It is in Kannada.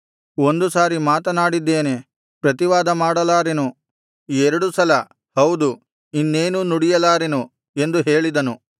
ಒಂದು ಸಾರಿ ಮಾತನಾಡಿದ್ದೇನೆ ಪ್ರತಿವಾದ ಮಾಡಲಾರೆನು ಎರಡು ಸಲ ಹೌದು ಇನ್ನೇನೂ ನುಡಿಯಲಾರೆನು ಎಂದು ಹೇಳಿದನು